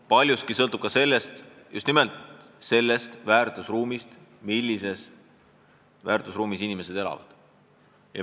Paljugi sõltub just nimelt sellest, millises väärtusruumis inimesed elavad.